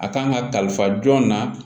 A kan ka kalifa jɔn na